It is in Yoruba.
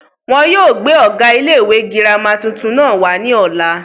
wọn yóò gbé ọ̀gá ilé ìwé girama tuntun náà wá ní ọ̀la